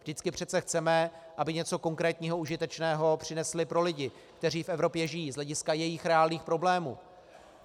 Vždycky přece chceme, aby něco konkrétního, užitečného přinesly pro lidi, kteří v Evropě žijí z hlediska jejich reálných problémů.